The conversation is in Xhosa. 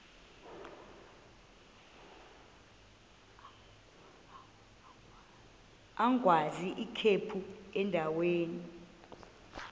agwaz ikhephu endaweni